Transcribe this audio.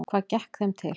Hvað gekk þeim til?